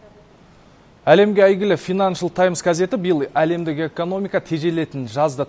әлемге әйгілі финаншл таймс газеті биыл әлемдік экономика тежелетінін жазды